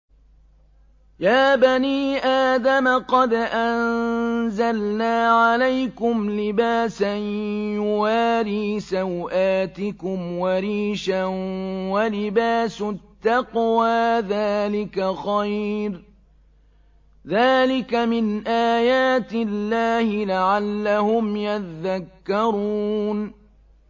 يَا بَنِي آدَمَ قَدْ أَنزَلْنَا عَلَيْكُمْ لِبَاسًا يُوَارِي سَوْآتِكُمْ وَرِيشًا ۖ وَلِبَاسُ التَّقْوَىٰ ذَٰلِكَ خَيْرٌ ۚ ذَٰلِكَ مِنْ آيَاتِ اللَّهِ لَعَلَّهُمْ يَذَّكَّرُونَ